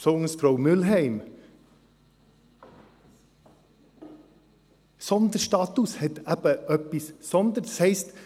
Besonders Frau Mühlheim: Sonderstatut hat eben etwas von «Sonder».